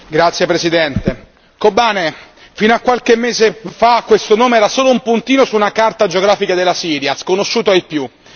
Signor Presidente, Kobane fino a qualche mese fa, questo nome era solo un puntino su una carta geografica della Siria, sconosciuto ai più.